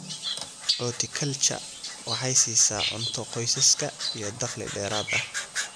Horticulture waxay siisaa cunto qoysaska iyo dakhli dheeraad ah.